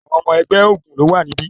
Àwọn ọmọ ẹgbẹ́ ogún ló wà níbí.